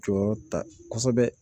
Jɔyɔrɔ ta kosɛbɛ